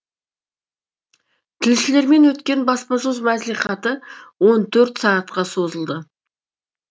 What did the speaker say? тілшілермен өткен баспасөз маслихаты он төрт сағатқа созылды